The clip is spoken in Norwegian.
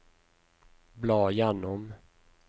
bla gjennom